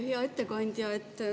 Hea ettekandja!